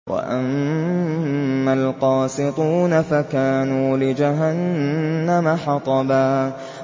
وَأَمَّا الْقَاسِطُونَ فَكَانُوا لِجَهَنَّمَ حَطَبًا